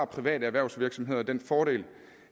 private erhvervsvirksomheder den fordel